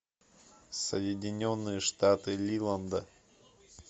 соединенные штаты лиланда